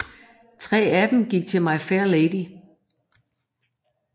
Tre af dem gik til My Fair Lady